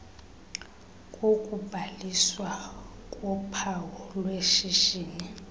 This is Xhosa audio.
kokubhaliswa kophawu lweshishini